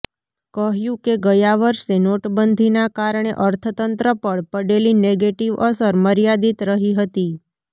કહ્યું કે ગયા વર્ષે નોટબંધીના કારણે અર્થતંત્ર પર પડેલી નેગેટિવ અસર મર્યાદિત રહી હતી